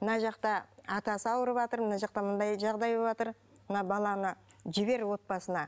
мына жақта атасы ауырыватыр мына жақта мынандай жағдай болватыр мына баланы жібер отбасына